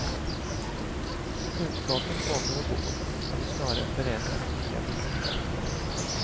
Kunskapen kommer och går, eller snarare förändras med nya vetenskaper.